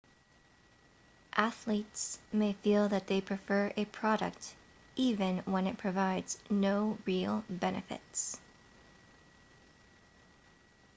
athletes may feel that they prefer a product even when it provides no real benefits